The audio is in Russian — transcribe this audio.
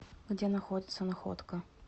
где находится находка